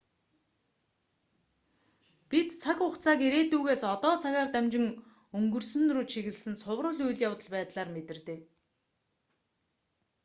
бид цаг хугацааг ирээдүйгээс одоо цагаар дамжин өнгөрсөн рүү чиглэсэн цуврал үйл явдал байдлаар мэдэрдэг